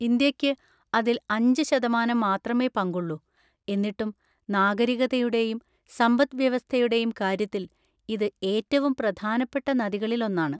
ഇന്ത്യയ്ക്ക് അതിൽ അഞ്ച് ശതമാനം മാത്രമേ പങ്കുള്ളൂ, എന്നിട്ടും നാഗരികതയുടെയും സമ്പദ്‌വ്യവസ്ഥയുടെയും കാര്യത്തിൽ ഇത് ഏറ്റവും പ്രധാനപ്പെട്ട നദികളിലൊന്നാണ്.